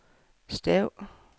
stav